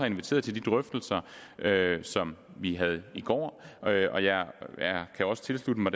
inviteret til de drøftelser som vi havde i går og jeg kan også tilslutte mig